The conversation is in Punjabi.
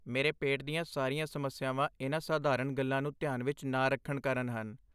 ਮੇਰੇ ਪੇਟ ਦੀਆਂ ਸਾਰੀਆਂ ਸਮੱਸਿਆਵਾਂ ਇਨ੍ਹਾਂ ਸਾਧਾਰਨ ਗੱਲਾਂ ਨੂੰ ਧਿਆਨ ਵਿਚ ਨਾ ਰੱਖਣ ਕਾਰਨ ਹਨ।